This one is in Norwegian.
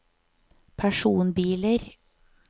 personbiler